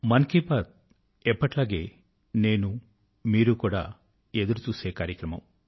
మన్ కీ బాత్ ఎప్పటిలాగే నేను మీరు కూడా ఎదురు చూసే కార్యక్రమ